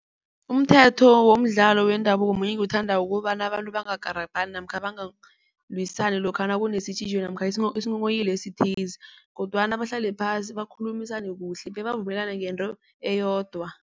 Umthetho womdlalo wendabuko munye engiwuthandako ukobana abantu bangakarabhani namkha bangalwisani lokha nakune-situation namkha isinghonghoyilo esithize kodwana bahlale phasi bakhulumisane kuhle bebavumelane ngento eyodwa.